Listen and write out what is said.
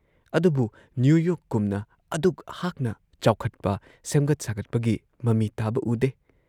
ꯑꯗꯨꯕꯨ ꯅ꯭ꯌꯨ ꯌꯣꯔꯛꯀꯨꯝꯅ ꯑꯗꯨꯛ ꯍꯥꯛꯅ ꯆꯥꯎꯈꯠꯄ, ꯁꯦꯝꯒꯠ ꯁꯥꯒꯠꯄꯒꯤ ꯃꯃꯤ ꯇꯥꯕ ꯎꯗꯦ ꯫